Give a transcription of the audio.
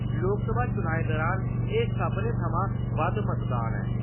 लोकसभा चुनाएं दुरान एह् सभनें शा बद्द मतदान ऐ।